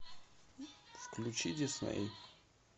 включи дисней